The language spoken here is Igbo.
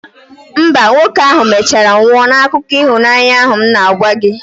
mba, nwoke ahụ mechara nwụọ n'akụkọ ịhụnanya ahụ m na-agwa gị